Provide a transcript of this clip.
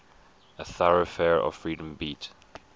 a thoroughfare of freedom beat